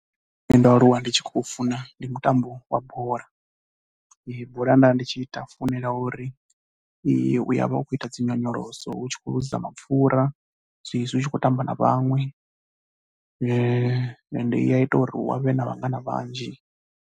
Ndo aluwa ndi tshi khou funa ndi mutambo wa bola. Bola nda tshi i ta, funela uri u ya vha u khou ita dzi nyonyoloso u tshi khou ḽuza mapfhura zwezwi u tshi khou tamba na vhaṅwe ende i ya ita uri u vhe na vhangana vhanzhi.